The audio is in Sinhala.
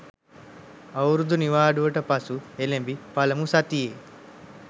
අවුරුදු නිවාඩුවට පසු එළැඹි පළමු සතියේ